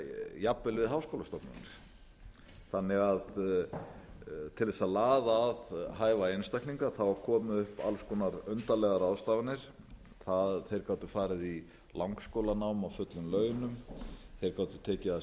jafnvel við háskólastofnanir þannig að til þess að laða að hæfa einstaklinga komu upp alls konar undarlegar ráðstafanir það að þeir gátu farið í langskólanám á fullum launum þeir gátu tekið að